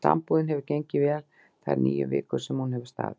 Sambúðin hefur gengið vel þær níu vikur sem hún hefur staðið.